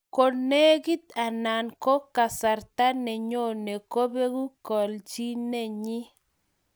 Konegit anan ko kasarta nenyonei kobeku kelchinenyi